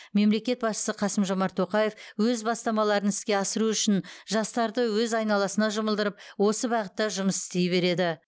мемлекет басшысы қасым жомарт тоқаев өз бастамаларын іске асыру үшін жастарды өз айналасына жұмылдырып осы бағытта жұмыс істей береді